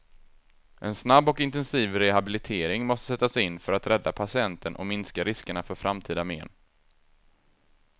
En snabb och intensiv rehabilitering måste sättas in för att rädda patienten och minska riskerna för framtida men.